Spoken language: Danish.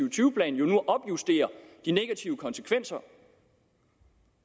og tyve plan de negative konsekvenser